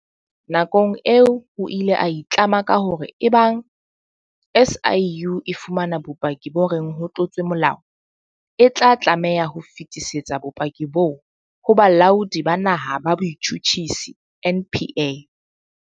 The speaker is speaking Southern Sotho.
Nakong eo o ile a itlama ka hore eba ng SIU e fumana bopaki bo reng ho tlotswe molao, e tla tlameha ho fetisetsa bopaki boo ho Bolaodi ba Naha ba Botjhutjhisi NPA.